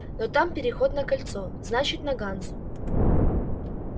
но там переход на кольцо значит на ганзу